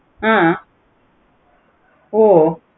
ஆஹ் ஓ